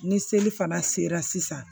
Ni seli fana sera sisan